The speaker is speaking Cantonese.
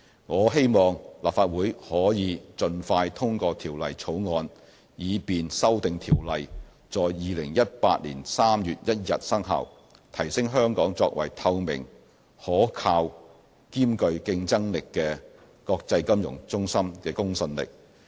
我希望立法會可以盡快通過《條例草案》，以便修訂條例在2018年3月1日生效，提升香港作為透明、可靠兼具競爭力的國際金融中心的公信力。